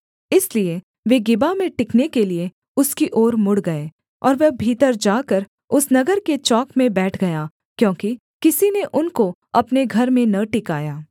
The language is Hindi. इसलिए वे गिबा में टिकने के लिये उसकी ओर मुड़ गए और वह भीतर जाकर उस नगर के चौक में बैठ गया क्योंकि किसी ने उनको अपने घर में न टिकाया